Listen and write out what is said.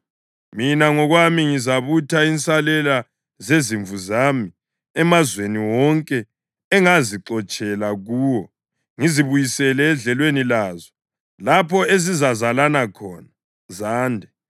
“Mina ngokwami ngizabutha insalela zezimvu zami emazweni wonke engangizixotshele kuwo ngizibuyisele edlelweni lazo, lapho ezizazalana khona zande.